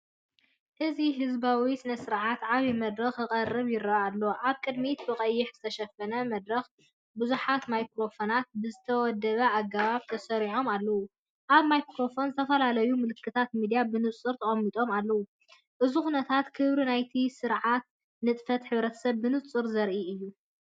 እዚ ህዝባዊ ስነ-ስርዓት ዓቢ መድረኽ ክቀርብ ይረአ ኣሎ። ኣብ ቅድሚት ብቐይሕ ዝተሸፈነ መድረክ ብዙሓት ማይክሮፎናት ብዝተወደበ ኣገባብ ተሰሪዖም ኣለዉ። ኣብ ማይክሮፎናት ዝተፈላለዩ ምልክታት ሚድያ ብንጹር ተቐሚጦም ኣለዉ። እዚ ኩነታት ክብሪ ናይቲ ስርዓትን ንጥፈታት ሕብረተሰብን ብንጹር ዘርኢ እዩ።